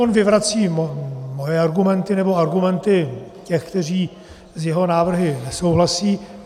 On vyvrací moje argumenty, nebo argumenty těch, kteří s jeho návrhy nesouhlasí.